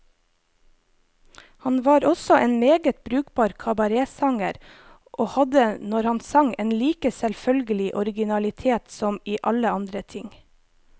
Han var også en meget brukbar kabaretsanger, og hadde, når han sang, en like selvfølgelig originalitet som i alle andre ting.